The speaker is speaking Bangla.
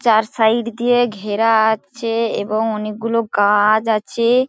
চার সাইড দিয়ে ঘেরা আছে এবং অনেকগুলো গাছ আছে।